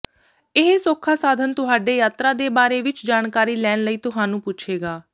ਇਹ ਸੌਖਾ ਸਾਧਨ ਤੁਹਾਡੇ ਯਾਤਰਾ ਦੇ ਬਾਰੇ ਵਿੱਚ ਜਾਣਕਾਰੀ ਲੈਣ ਲਈ ਤੁਹਾਨੂੰ ਪੁੱਛੇਗਾ